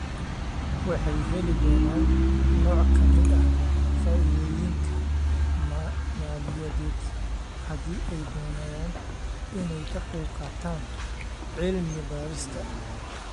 Waxay heli doonaan nooc ka mid ah faa'iidooyinka maaliyadeed haddii ay doonayaan inay ka qaybqaataan cilmi-baarista.